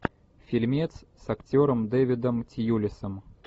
фильмец с актером дэвидом тьюлисом